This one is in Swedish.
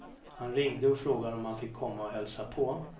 Han ringde och frågade om han fick komma och hälsa på.